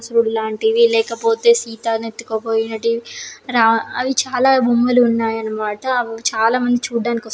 సురుడు లాంటివి లేకపోతే సీతను ఎత్తుకుపోయినటి రా అవి చాలా బొమ్మలు ఉన్నాయి అన్నమాట. అవి చాలామంది చూడడానకి వస్తున్నారు.